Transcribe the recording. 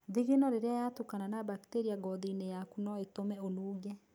Thingino rĩrĩa yatukana na bacteria gothinĩ yaku no ĩtũme ũnunge.